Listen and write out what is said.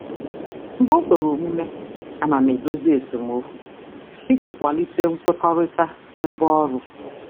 Mgbe o kwere omume, ana m edozi esemokwu iji kwalite nkwekọrịta kwalite nkwekọrịta n'ebe ọrụ.